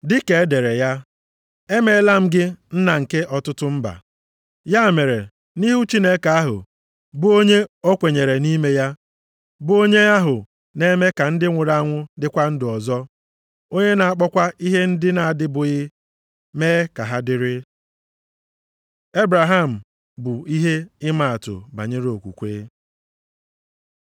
Dịka e dere ya, “Emeela m gị nna nke ọtụtụ mba.” + 4:17 \+xt Jen 17:5\+xt* Ya mere, nʼihu Chineke ahụ bụ onye o kweenyere nʼime ya, bụ onye ahụ na-eme ka ndị nwụrụ anwụ dịkwa ndụ ọzọ, onye na-akpọkwa ihe ndị na-adịbụghị, mee ka ha dịrị. Ebraham bụ ihe ịmaatụ banyere okwukwe